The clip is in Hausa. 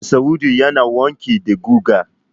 Masa'udu yana wanki da guga.